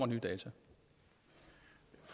mere data